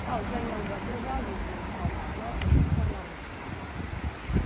ал жәния әубәкірова өзінің алдағы жоспарларымен бөлісті